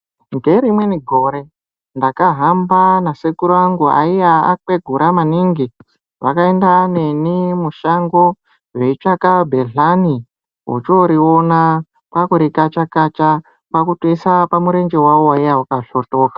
Ngerimweni gore ndakahamba nasekuru angu aiya akwegura maningi, vakaenda neni mushango veitsvaka bhedhlani vochooriona kwakurikacha -kacha kwakutise pamurenje wavo waiye wakasvotoka.